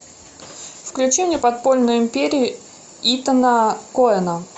включи мне подпольную империю итана коэна